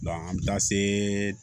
an bɛ taa se